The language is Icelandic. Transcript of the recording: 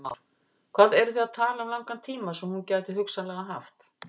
Heimir Már: Hvað eru þið að tala um langan tíma sem hún gæti hugsanlega haft?